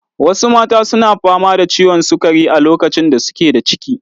Wasu mata su na fama da ciwon sukari a lokacin da su ke da ciki.